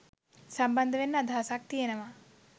සම්බන්ධ වෙන්න අදහසක් තියෙනවා